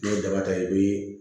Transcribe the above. N'i ye daba ta i bɛ